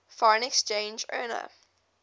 foreign exchange earner